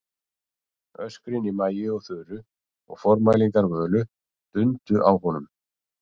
Öskrin í Maju og Þuru og formælingar Völu dundu á honum.